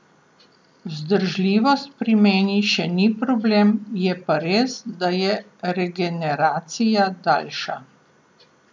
Vzdržljivost pri meni še ni problem, je pa res, da je regeneracija daljša.